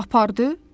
Apardı?